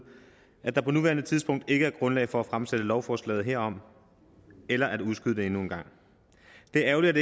at der på nuværende tidspunkt ikke er grundlag for at fremsætte lovforslaget herom eller at udskyde det endnu en gang det er ærgerligt